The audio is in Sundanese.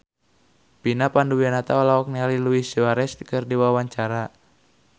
Vina Panduwinata olohok ningali Luis Suarez keur diwawancara